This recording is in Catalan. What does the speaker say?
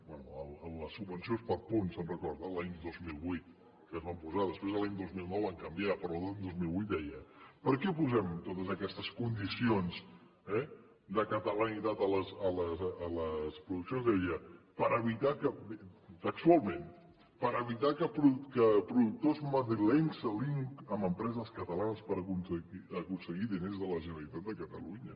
bé les subvencions per punts se’n recorden l’any dos mil vuit que es van posar després l’any dos mil nou van canviar però a l’any dos mil vuit deia per què posem totes aquestes condicions de catalanitat a les produccions deia textualment per evitar que productors madrilenys s’aliïn amb empreses catalanes per aconseguir diners de la generalitat de catalunya